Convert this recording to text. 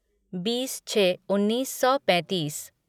बीस छः उन्नीस सौ पैंतीस